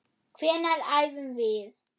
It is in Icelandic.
Hvenær æfum við?